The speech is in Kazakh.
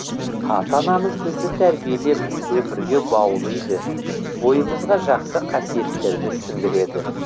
ата анамыз бізді тәрбиелеп өмірге баулыйды бойымызға жақсы қасиеттерді сіңдіреді